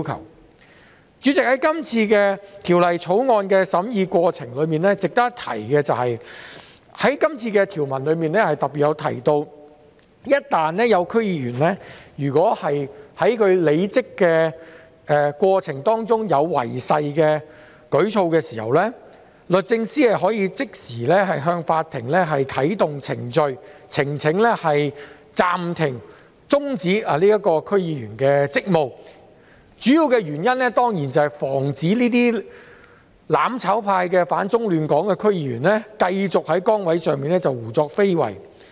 代理主席，就《條例草案》的審議過程，值得一提的是，條文特別提到一旦有區議員在履職過程中作出違誓的舉措，律政司司長可即時向法庭申請啟動程序，暫停和終止該名區議員的職務，主要原因當然是為了防止這些"反中亂港"的"攬炒派"區議員繼續在崗位上胡作非為。